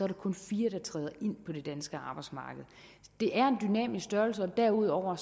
der kun fire der træder ind på det danske arbejdsmarked det er en dynamisk størrelse og derudover